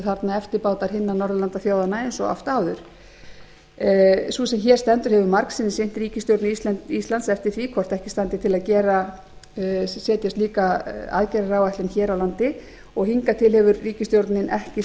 þarna eftirbátar hinna norðurlandaþjóðanna eins og oft áður sú sem hér stendur hefur margsinnis innt ríkisstjórn íslands eftir því hvort ekki standi til að setja slíka aðgerðaáætlun hér á landi og hingað til hefur ríkisstjórnin ekki séð